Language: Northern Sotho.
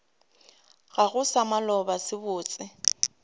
gago sa maloba se botse